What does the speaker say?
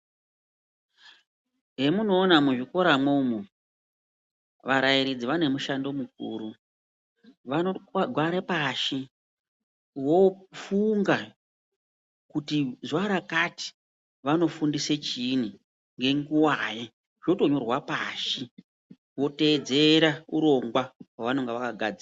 Zvemunoona muzvikora mwomwo varairidzi vane mishando mukuru vanogare pashi vofunga kuti zuva rakati vanofundise chiini, ngenguvai zvotonyorwa pashi votedzera urongwa hwavanonga vakagadzira.